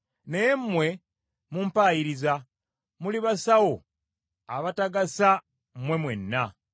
Naye mmwe mumpayiriza; muli basawo abatagasa mmwe mwenna!